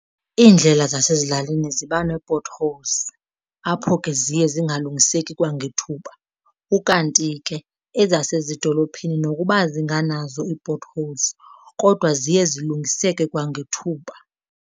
Iindlela zasezilalini ziba nee-potholes, apho ke ziye zingalungiseki kwangethuba, ukanti ke ezasezidolophini nokuba zingananzo ii-potholes kodwa ziye zilungiseke kwangethuba.